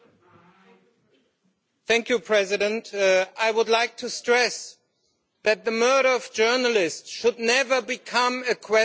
Mr President, I would like to stress that the murder of journalists should never become a question of party politics.